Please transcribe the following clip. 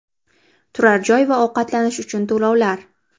Turar joy va ovqatlanish uchun to‘lovlar.